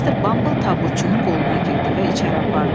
Mr. Bumble tabutçunun qoluna girdi və içəri apardı.